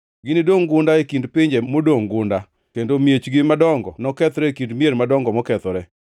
Ginidongʼ gunda, e kind pinje modongʼ gunda, kendo miechgi madongo nokethre e kind mier madongo mokethore.